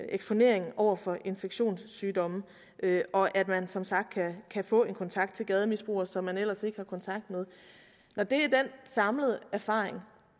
eksponeringen over for infektionssygdomme og at man som sagt kan få en kontakt til gademisbrugere som man ellers ikke har kontakt med når det er den samlede erfaring